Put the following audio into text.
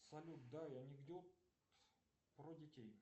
салют дай анекдот про детей